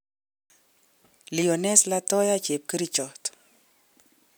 Lioness Latoya:Chepkerichot